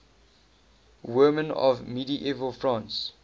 women of medieval france